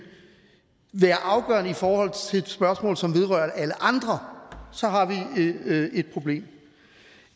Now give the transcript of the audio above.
være afgørende for et spørgsmål som vedrører alle andre så har vi et problem